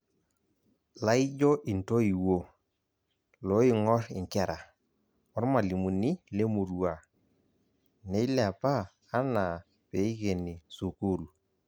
Laijo intoiwo, looing'or inkera, ormalimuni lemurua, neilepa anaa peikeni sukuul.